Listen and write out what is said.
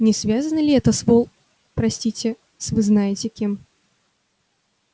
не связано ли это с вол простите с вы знаете кем